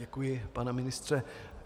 Děkuji, pane ministře.